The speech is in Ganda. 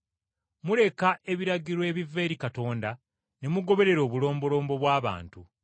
Muleka ebiragiro ebiva eri Katonda ne mugoberera obulombolombo bw’abantu.”